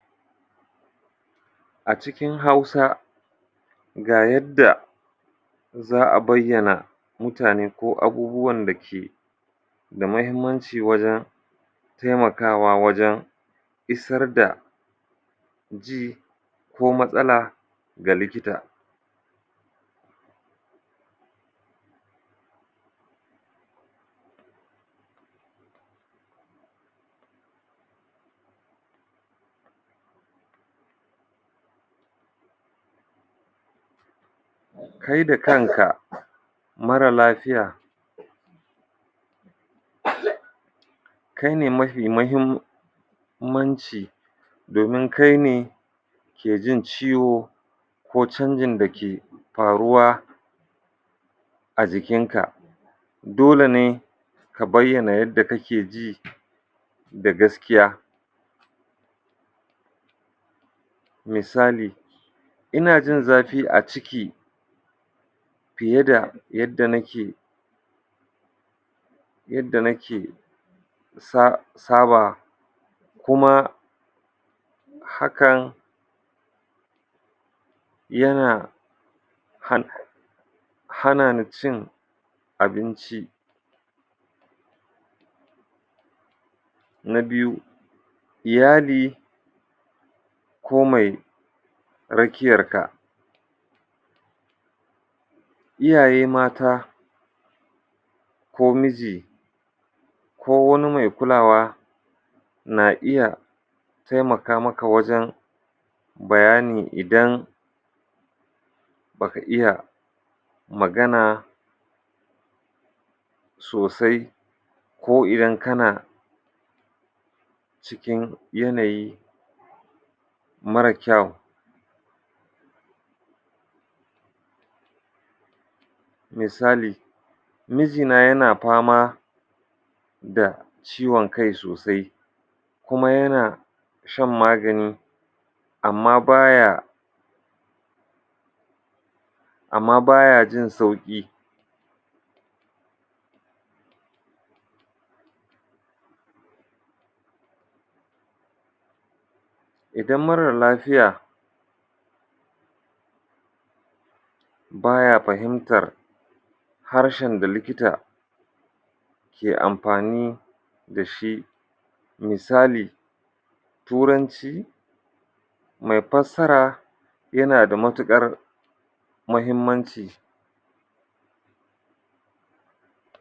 A cikin Hausa, ga yadda za a bayyana mutane ko abubuwan da ke da muhimmanci wajen taimakawa wajen isar da ji ko matsala ga likita: Kai da kanka marar lafiya kai ne mafi muhimmanci domin kai ne ke jin ciwo ko canjin da ke faruwa a jikinka. Dole ne ka bayyana yadda kake ji da gaskiya. Misali, ina jin zafi a ciki fiye da yadda nake yadda nake sa saba kuma hakan yana han hana ni cin abinci. Na biyu, iyali ko mai rakiyarka. iyaye mata ko miji ko wani mai kulawa na iya taimaka maka wajen bayani idan ba ka iya magana sosai ko idan kana cikin yanayi marar kyau. Misali, mijina yana fama da ciwon kai sosai kuma yana shan magani amma ba ya amma ba ya jin sauƙi. Idan marar lafiya ba ya fahimtar harshen da likita ke amfani da shi. Misali, Turanci mai fassara yana da matuƙar muhimmanci.